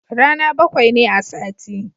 Rana bakwai ne a sati